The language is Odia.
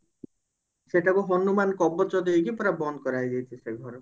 ସେଟାକୁ ହନୁମାନ କବଚ ଦେଇକି ପୁରା ବନ୍ଦ କରାହେଇଯାଇଛି ସେ ଘରକୁ